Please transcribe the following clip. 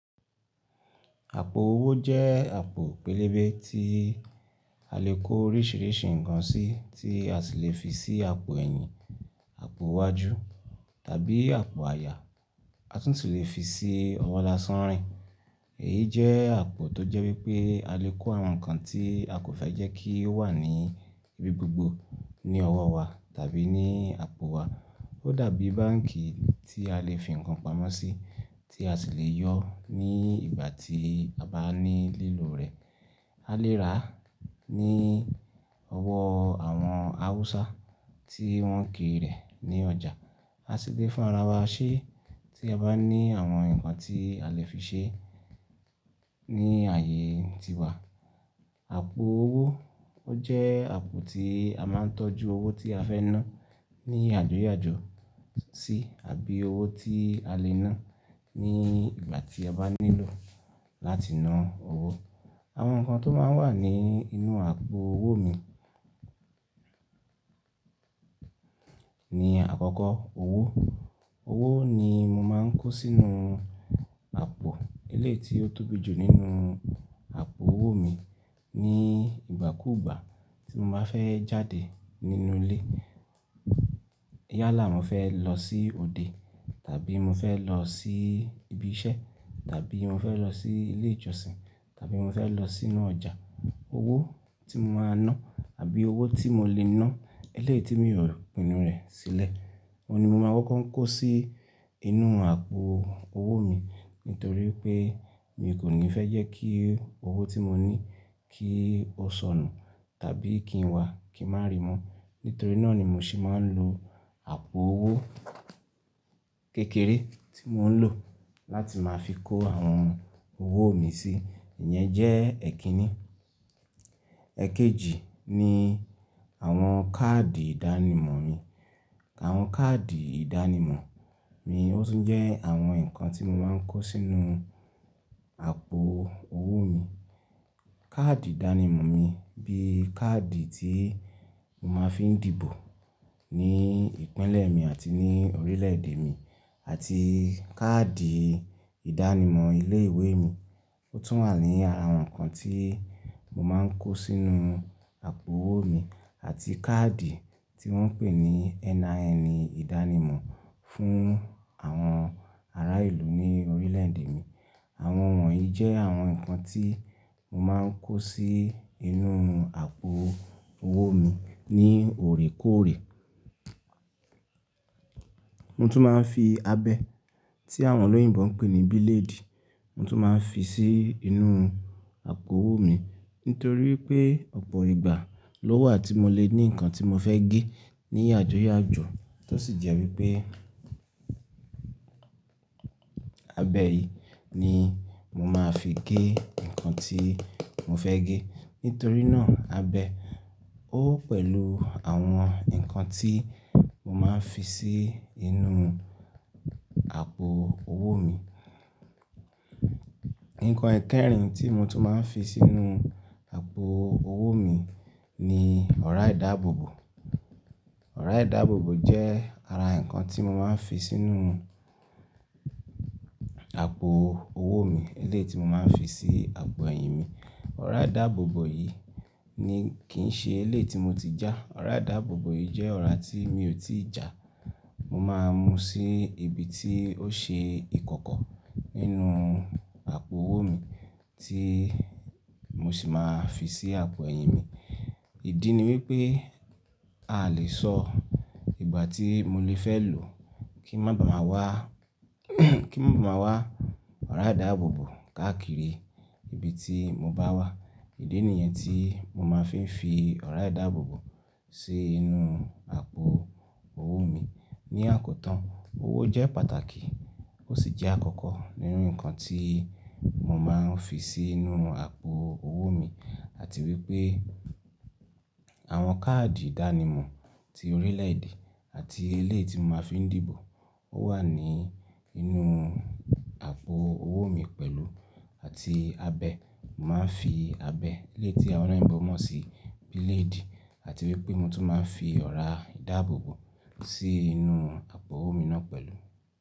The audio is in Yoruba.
Àpò owó jẹ́ àpò pélébé tí a lè kó oríṣìíríṣìí ǹkan sí, tí a sì lè fi sí àpò ẹ̀yìn, àpò iwájú tàbí àpò àyà. A tún si lè fi sí ọwọ́ lásán rìn. Èyí jẹ́ àpò tó jẹ́ wípé a lè kó àwọn ǹkan tí a kò fẹ́ jẹ́ kí ó wà ní ibi gbogbo ní ọwọ́ wa tàbí ní àpò wa. Ó dàbí báǹkì tí a lè fi ǹkan pamọ́ sí tí a sì lè yọ ní ìgbà tí a bá ní lílò rẹ̀. A lè rà á ní ọwọ́ àwọn Awúsá tí wọ́n ń kiri rẹ̀ ní ọjà. A sì lè fún ara wa ṣé tí a bá ní àwọn ǹkan tí a lè fi ṣe ní ààyè tiwa. Àpò owó ó jẹ́ àpò tí a máa ń tọ́jú owó tí a fẹ́ ná ní yàjoyajo sí àbí owó tí a lè ná ní ìgbà tí a bá nílò láti ná owó. Àwọn ǹkan tó máa ń wà ní inú àpò owó mi ni àkọ́kọ́ owó. Owó ni mo máa ń kó sínú àpò eléyi ti ó tóbi jù nínú àpò owó mi ní ìgbà kúùgbà tí mo bá fẹ́ jáde nínú ilé. Yálà, mo fẹ́ lọ sí òde tàbí mo fẹ́ lọ sí ibi iṣẹ́ tàbí mo fẹ́ lọ sí ilé ìjọsìn tàbí mo fẹ́ lọ sínú ọjà. Owó tí mo máa ná àbí owó tí mo lè ná elé tí mi ò pinu rẹ̀ sílẹ̀, oun ni mo máa wọ́n kó sí inú àpò owó mi nítorí pé mi kò ní fẹ́ jẹ́ kí owó tí mo ní kí ó sọnù tàbí kí n wá kí n má ri mo. Nítorí náà ni mo sì máa ń lo àpò owó kékeré tí mò ń lò láti máa fi kó àwọn owó mi sí. Ìyẹn jẹ́ èkínní. Ẹ̀kejì ni àwọn káàdì ìdánimọ̀ mi. Àwọn káàdì ìdánimọ̀ mi ó tún jẹ́ àwọn ǹkan tí mo máa ń kó sínú àpò owó mi. Káàdì ìdánimọ̀ mi bí i káàdì tí mo máa ń fi dìbò ní ìpínlẹ̀ mi àti ní orílẹ̀ èdè mi àti káàdì ìdánimọ̀ ilé ìwé mi ó tún wà ní ara àwọn ǹkan tí mo máa ń kó sínú àpò owó mi àti káàdì tí wọ́n ń pè ní NIN ìdánimọ̀ fún àwọn ará ìlú ní orílẹ̀ èdè mi. Àwọn wọ̀nyí jẹ́ àwọn ǹkan tí mo máa ń kó sí inú àpò owó mi ní òrékọ́ọ̀rẹ́. Mo tún máa ń fi abẹ tí àwọn olóyìnbo ń pè ní bílédì, mo tún máa ń fi sí inú àpò owó mi nítorí pé ọ̀pọ̀ ìgbà ló wà tí mo lè ní ǹkan tí mo fẹ́ gé ní yàjoyajo. Tó sì jẹ́ wípé abẹ yìí ni mo máa fi gé ǹkan tí mo fẹ́ gé. Nítorí náà abẹ ó pẹ̀lú àwọn ǹkan tí mo máa ń fi sí inú àpò owó mi. Ǹkan ẹkẹ́rin tí mo tún máa ń fi sínú àpò owó mi ni ọ̀rá ìdáàbòbò. Ọ̀rá ìdáàbòbò jẹ́ ara ǹkan tí mo máa ń fi sínú àpò owó mi eléyi ti mo máa ń fi sí àpò ẹ̀yìn mi. Ọ̀rá ìdáàbòbò yìí ni kì í ṣe elé tí mo ti já. Ọ̀rá ìdáàbòbò yìí jẹ́ ọ̀rá tí mi ò tí ì jà. Mo máa mú sí ibi tí ó ṣe ìkọ̀kọ̀ nínú àpò owó mi tí mo sì máa fi sí àpò ẹ̀yìn mi. Ìdí ni wípé a lè sọ ìgbà tí mo lè fẹ́ lò kí ń má bàa wá, kí ń má bàa wá ọ̀rá ìdáàbòbò káàkiri ibi tí mo bá wà. Ìdí nìyẹn tí mo máa ń fi ọ̀rá ìdáàbòbò sí inú àpò owó mi. Ní àkótán, owó jẹ́ pàtàkì ó sì jẹ́ àkọ́kọ́ nínú ǹkan tí mo máa ń fi sínú àpò owó mi àti wípé àwọn káàdì ìdánimọ̀ ti orílẹ̀ èdè àti elé tí mo máa ń fi ń dìbò ó wà ní inú àpò owó mi pẹ̀lú àti abẹ. Mo máa ń fi abẹ eléyi tí àwọn olóyìnbo mọ̀ sí bílédì àti wípé mo tún máa ń fi ọ̀rá ìdáàbòbò sí inú àpò owó mi náà pẹ̀lú.